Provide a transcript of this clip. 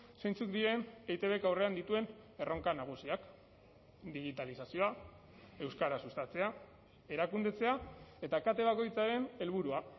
zeintzuk diren eitbk aurrean dituen erronka nagusiak digitalizazioa euskara sustatzea erakundetzea eta kate bakoitzaren helburua